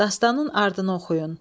Dastanın ardını oxuyun.